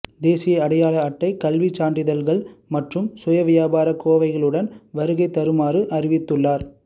தேசிய அடையாள அட்டை கல்விச் சான்றிதழ்கள் மற்றும் சுயவிபரக் கோவையுடன் வருகை தருமாறும் அறிவித்துள்ளார்